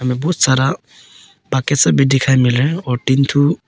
इसमें बहुत सारा मिल रहे हैं और तीन ठो--